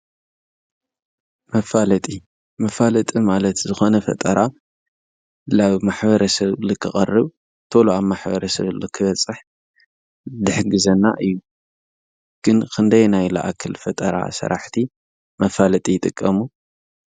መፋለጢ መፋለጢ ማለት ዝኾነ ፈጠራ ናብ ማሕበረሰብ ንክቐርብ ቶሎ ኣብ ማሕበረሰብ ንክበፅሕ ዝሕግዘና እዩ። ግን ክንደየናይ ዝኣክል ፈጠራ ሰራሕቲ መፋለጢ ይጥቀሙ ?